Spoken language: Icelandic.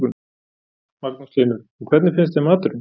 Magnús Hlynur: Og hvernig finnst þeim maturinn?